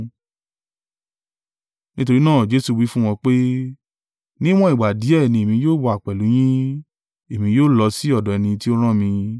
Nítorí náà Jesu wí fún wọn pé, “Níwọ́n ìgbà díẹ̀ ni èmi yóò wà pẹ̀lú yín, èmi yóò lọ sí ọ̀dọ̀ ẹni tí ó rán mi.